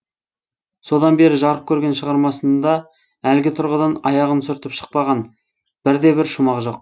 содан бері жарық көрген шығармасында әлгі тұрғыдан аяғын сүртіп шықпаған бірде бір шумақ жоқ